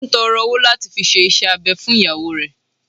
Ó n tọrọ owo lati fi se isẹ abẹ fun iyawo rẹ